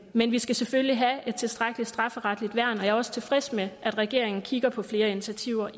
men vi skal selvfølgelig have et tilstrækkeligt strafferetligt værn og jeg er også tilfreds med at regeringen kigger på flere initiativer